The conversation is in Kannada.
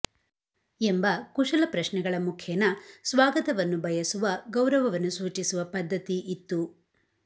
ಎಂಬ ಕುಶಲಪ್ರಶ್ನೆಗಳ ಮುಖೇನ ಸ್ವಾಗತವನ್ನು ಬಯಸುವ ಗೌರವವನ್ನು ಸೂಚಿಸುವ ಪದ್ಧತಿ ಇತ್ತು